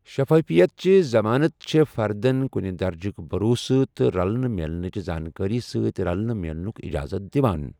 شفافیتچہِ ضمانتہٕ چھے٘فردن كُنہِ درجٕكہِ بھروسہٕ تہٕ رلنہٕ میلنٕہِچہِ زانكٲری سۭتۍ رلنہٕ میلنُك اِجازت دِوان ۔